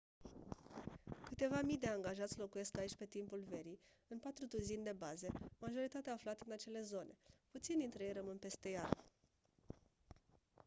câteva mii de angajați locuiesc aici pe timpul verii în patru duzini de baze majoritatea aflate în acele zone puțini dintre ei rămân peste iarnă